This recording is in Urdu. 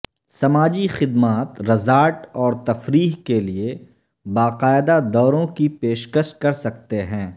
سماجی خدمات رزارٹ اور تفریح کے لئے باقاعدہ دوروں کی پیشکش کر سکتے